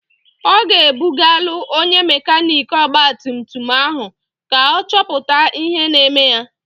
Ọ ga-ebugalụ onye mekaniiki ọgbatumtum ahụ ka ọ chọpụta ihe na-eme ya.